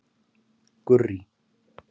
Gurrý